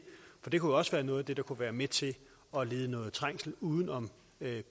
kunne også være noget af det der kunne være med til at lede noget trængsel uden om